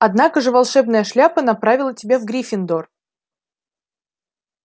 однако же волшебная шляпа направила тебя в гриффиндор